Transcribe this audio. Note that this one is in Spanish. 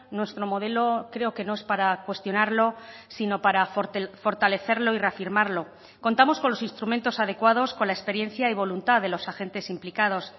nuestro modelo creo que no es para cuestionarlo sino para fortalecerlo y reafirmarlo contamos con los instrumentos adecuados con la experiencia y voluntad de los agentes implicados